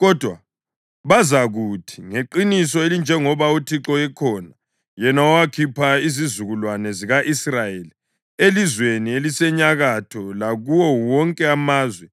kodwa bazakuthi, ‘Ngeqiniso elinjengoba uThixo ekhona, yena owakhipha izizukulwane zika-Israyeli elizweni elisenyakatho lakuwo wonke amazwe